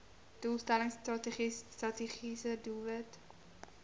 doelstelling strategiese doelwit